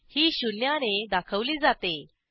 ही शून्याने दाखवली जाते